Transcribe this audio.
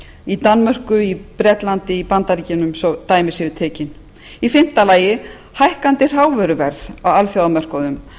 í danmörku í bretlandi í bandaríkjunum svo að dæmi séu tekin í fimmta lagi hækkandi hrávöruverð á alþjóðamörkuðum